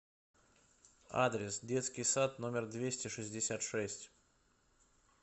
адрес детский сад номер двести шестьдесят шесть